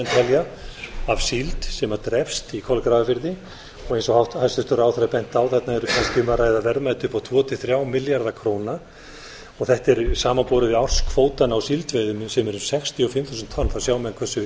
telja af síld sem drepst í kolgrafafirði eins og hæstvirtur ráðherra benti á þarna er kannski um að ræða verðmæti upp á tvo til þrjá milljarða króna þetta er samanborið við árskvótann á síldveiðum sem eru um sextíu og fimm þúsund tonn sjá menn hversu